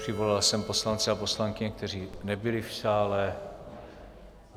Přivolal jsem poslance a poslankyně, kteří nebyli v sále.